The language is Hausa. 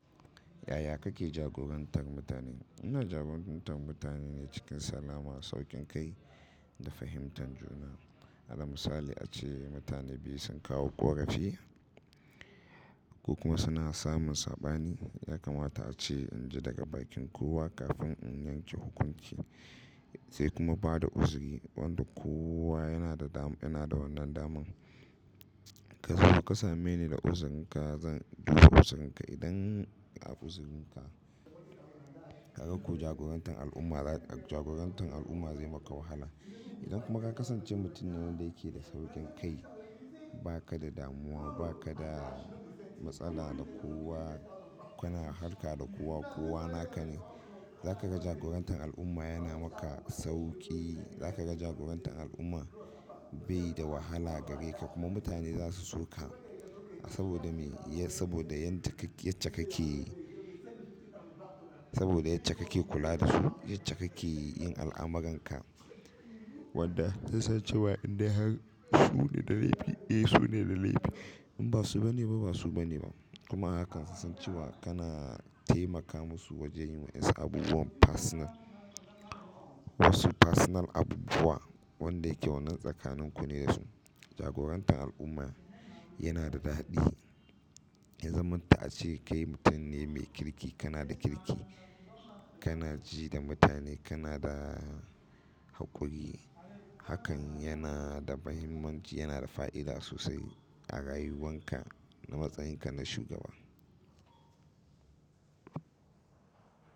Yaya kake jagorantar mutane? Ina jagorantar mutane ne cikin salama, sauƙin kai da fahimtar juna. Ala misali ace mutane biyu sun kawo ƙorafi you ko kuma suna samun saɓani, ya kamata ace in ji daga bakin kowa kafin in yanke hukunci sai kuma ba da uzuri. Wanda kowa yana da wannan daman. Ka zo ka same ni da uzurinka zan bi ku uzurinka. Idan a uzurinka ka ga ko jagorantar al'umma zai maka wahala. Idan kuma ka kasance mutum ne wanda yake da saukin kai baka da damuwa baka da matsala da kowa, kana harka da kowa, kowa na ka ne, za ka ga jagorantar al'umma yana maka sauƙi. Za ka ga jagorantar al'umma bai da wahala gare ka kuma mutane za su so ka. Saboda me? Saboda yadda kake kula da su, yadda kake yin al'amuranka wanda zai sa cewa in dai har su ne da laifi, eh su ne da laifi, in ba su ba ne ba, ba su ba ne ba. Kuma hakan zai sa cewa kana taimaka musu wajen yin wasu abubuwan personal. Wasu personal abubuwa wanda yake wannan tsakanin ku ne da su. Jagorantar al'umma yana da daɗi. Ya zamanto ace kai mutum ne mai kirki, kana da kirki kana ji da mutane kana da kudi. Hakan yana da muhimmanci, yana da fa'ida sosai a rayuwanka, na matsayinka na shugaba.